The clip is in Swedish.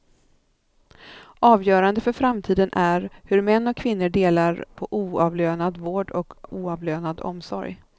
Avgörande för framtiden är hur män och kvinnor delar på oavlönad vård och oavlönad omsorg.